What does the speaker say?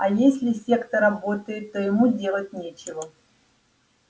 а если сетка работает то ему делать нечего